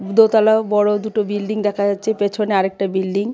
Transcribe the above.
দোতলা বড় দুটো বিল্ডিং দেখা যাচ্ছে পেছনে আরেকটা বিল্ডিং .